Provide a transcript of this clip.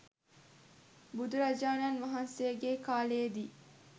බුදුරජාණන් වහන්සේගේ කාලයේ දී